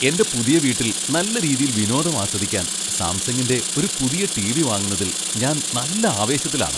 എന്റെ പുതിയ വീട്ടിൽ നല്ല രീതിയിൽ വിനോദം ആസ്വദിക്കാൻ സാംസങ്ങിന്റെ ഒരു പുതിയ ടിവി വാങ്ങുന്നതിൽ ഞാൻ നല്ല ആവേശത്തിലാണ്.